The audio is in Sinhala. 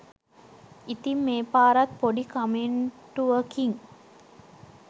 ඉතින් මේ පාරත් පොඩි කමෙන්ටුවකින්